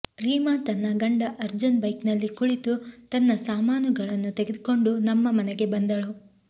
ರೀಮಾ ತನ್ನ ಗಂಡ ಅರ್ಜುನ್ ಬೈಕ್ನಲ್ಲಿ ಕುಳಿತು ತನ್ನ ಸಾಮಾನುಗಳನ್ನು ತೆಗೆದುಕೊಂಡು ನಮ್ಮ ಮನೆಗೆ ಬಂದಳು